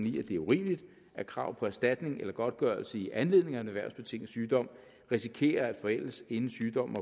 i at det er urimeligt at krav på erstatning eller godtgørelse i anledning af en erhvervsbetinget sygdom risikerer at forældes inden sygdommen